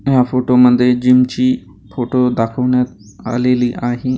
या फोटोमध्ये जिम ची फोटो दाखवण्यात आलेली आहे .